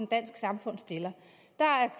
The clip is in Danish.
dansk samfund stiller der er